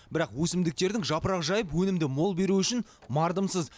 бірақ өсімдіктердің жапырақ жайып өнімді мол беруі үшін мардымсыз